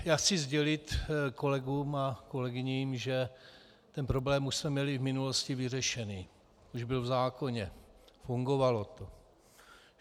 Já chci sdělit kolegům a kolegyním, že ten problém už jsme měli v minulosti vyřešený, už byl v zákoně, fungovalo to.